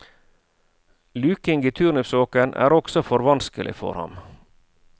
Luking i turnipsåkeren er også for vanskelig for ham.